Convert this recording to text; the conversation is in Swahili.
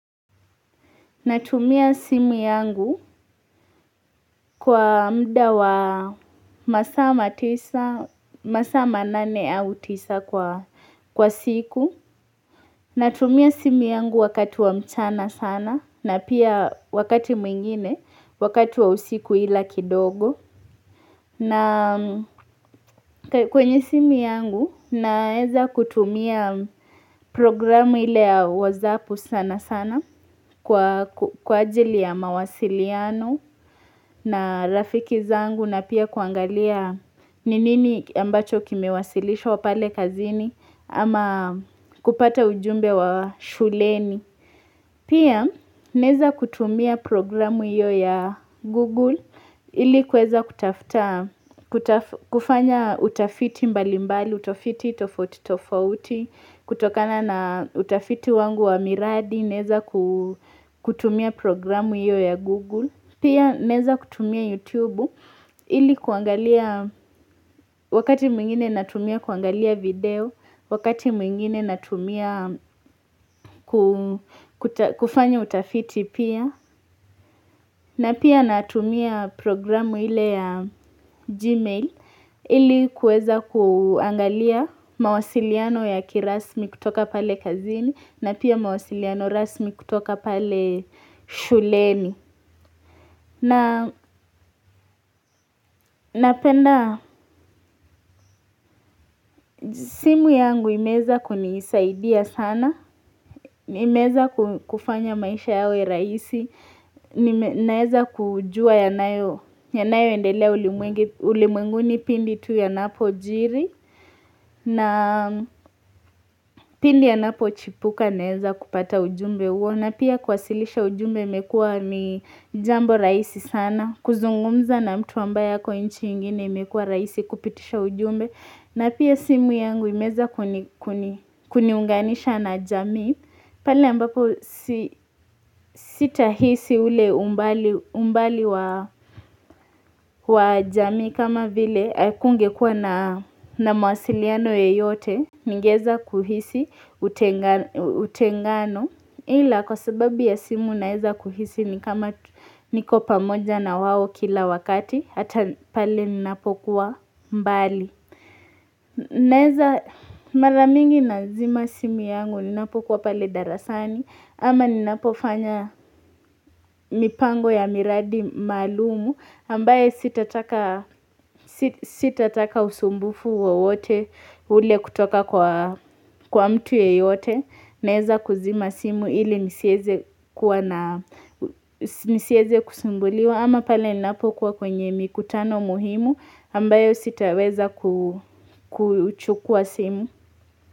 Natumia simu yangu kwa muda wa masaa matisa, masaa manane au tisa kwa siku. Natumia simu yangu wakati wa mchana sana na pia wakati mwingine, wakati wa usiku ila kidogo. Na kwenye simu yangu naweza kutumia programu ile ya whatsapp sana sana kwa ajili ya mawasiliano na rafiki zangu na pia kuangalia ni nini ambacho kimewasilishwa pale kazini ama kupata ujumbe wa shuleni. Pia naweza kutumia programu hiyo ya Google ili kuweza kufanya utafiti mbali mbali, utafiti tofauti tofauti, kutokana na utafiti wangu wa miradi, naweza kutumia programu hiyo ya Google. Pia naweza kutumia YouTube ili kuangalia wakati mwingine natumia kuangalia video, wakati mwingine natumia kufanya utafiti pia. Na pia natumia programu ile ya Gmail ili kuweza kuangalia mawasiliano ya kirasmi kutoka pale kazini na pia mawasiliano rasmi kutoka pale shuleni. Napenda simu yangu imeweza kunisaidia sana, imeweza kufanya maisha yawe rahiisi, naweza kujua yanayoendelea ulimwenguni pindi tu yanapojiri, na pindi yanapochipuka naweza kupata ujumbe huo, na pia kuwasilisha ujumbe imekua ni jambo rahisi sana, kuzungumza na mtu ambaye ako nchi ingine imekua rahisi kupitisha ujumbe. Na pia simu yangu imeweza kuniunganisha na jamii pale ambapo sitahisi ule umbali wa jamii kama vile hakungekua na mawasiliano yeyote Ningewza kuhisi utengano ila kwasababu ya simu naweza kuhisi ni kama niko pamoja na wao kila wakati Hata pale ninapokua mbali Naweza mara mingi nazima simu yangu ninapokua pale darasani ama ninapofanya mipango ya miradi maluum ambaye sitataka sitataka usumbufu wowote ule kutoka kwa mtu yeyote. Naweza kuzima simu ili nisiweze kusumbuliwa ama pale ninapo kua kwenye mikutano muhimu ambayo sitaweza kuchukua simu.